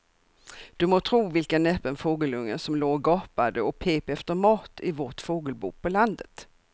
Du må tro vilken näpen fågelunge som låg och gapade och pep efter mat i vårt fågelbo på landet.